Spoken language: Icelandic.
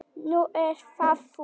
Nú ert það þú.